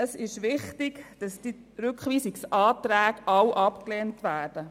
Es ist wichtig, dass sämtliche Rückweisungsanträge abgelehnt werden.